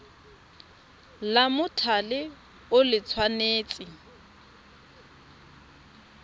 la mothale o le tshwanetse